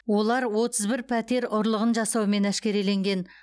олар отыз бір пәтер ұрлығын жасаумен әшкереленген